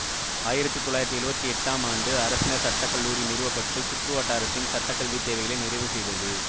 ஆயிரத்தி தொள்ளாயிரத்தி எழுவத்தி எட்டாம் ஆண்டு அரசினர் சட்ட கல்லூரி நிறுவப்பட்டு சுற்றுவட்டாரத்தின் சட்டக்கல்வித் தேவைகளை நிறைவு செய்தது